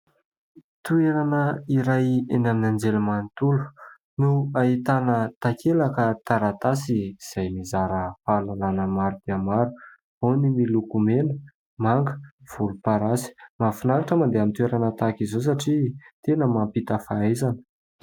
Toerana iray eny amin'ny anjely manontolo no ahitana takelaka taratasy izay mizara fahalalana maro dia maro, ao ny miloko mena, manga, volomparasy. Mahafinaritra mandeha amin'ny toerana tahaka izao satria tena mampita fahaizana.